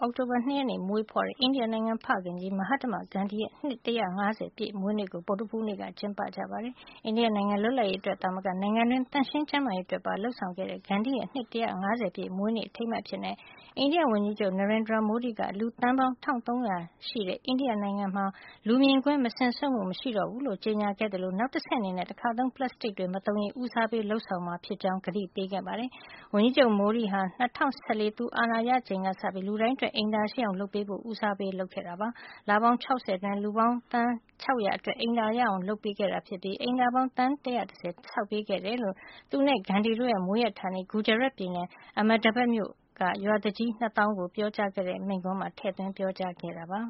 အောက်တိုဘာလ ၂ ရက်နေ့က မွေးဖွားခဲ့တဲ့ အိန္ဒိယနိုင်ငံရဲ့ ဖခင်ကြီး မဟတ္တမဂန္ဒီရဲ့ နှစ် ၁၅၀ ပြည့်မွေးနေ့ ကို ဗုဒ္ဓဟူးနေ့က ကျင်းပခဲ့ကြပါတယ်။ အိန္ဒိယနိုင်ငံ လွတ်လပ်ရေးအတွက် သာမက နိုင်ငံတွင်း သန့်ရှင်ကျန်းမာရေး အတွက်ပါ လုပ်ဆောင်ခဲ့တဲ့ ဂန္ဒီရဲ့ နှစ် ၁၅၀ ပြည့် မွေးနေ့ အထိမ်းအမှတ်အဖြစ် အိန္ဒိယဝန်ကြီးချုပ် Narendra Modi က လူသန်းပေါင်း တထောင့်သုံးရာ ရှိတဲ့ အိန္ဒိယနိုင်ငံမှာ လူမြင်ကွင်းမစင်စွန့်မှု မရှိတော့ဘူးလို့ ကြေညာခဲ့သလို နောက်တဆင့်အနေနဲ့ တခါသုံး ပလပ်စတစ်တွေ မသုံးရေးကို ဦးစားပေး လုပ်ဆောင်မှာ ဖြစ်ကြောင်း ကတိပေးခဲ့ပါတယ်။ ဝန်ကြီးချုပ် Modi ဟာ ၂၀၁၄ သူအာဏာရလာချိန်ကစပြီး လူတိုင်းအတွက် အိမ်သာရှိအောင် လုပ်ပေးဖို့ ဦးစားပေးလုပ်ဆောင်ခဲ့တာ ဖြစ်ပါတယ်။ လပေါင်း ၆၀ အတွင်း လူပေါင်း သန်း ၆၀၀ အတွက် အိမ်သာရအောင် လုပ်ပေးခဲ့တာဖြစ်ပြီး အိမ်သာပေါင်း သန်း ၁၁၀ ဆောက်ပေးခဲ့တယ်လို့ သူနဲ့ ဂန္ဒီတို့ရဲ့ မွေးဌာနေ ဂူဂျာရတ်ပြည်နယ် Ahmedabad မြို့ အနောက်ပိုင်းရွာတွေက ရွာသူကြီး ၂ သောင်းကို ပြောကြားတဲ့ မိန့်ခွန်းမှာ ထည့်သွင်း ပြောကြားခဲ့တာပါ